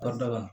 Kɔ da la